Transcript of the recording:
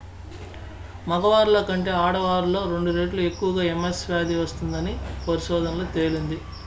మగవారిలో కంటే ఆడవారిలో రెండు రెట్లు ఎక్కవగా ms వ్యాధి వస్తుందని పరిశోధనలో తేలింది